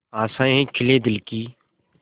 आशाएं खिले दिल की